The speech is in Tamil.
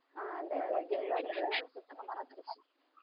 ஆஹ் அந்த game விளையாடுறது எல்லாமே சுத்தமா மறந்திருச்சு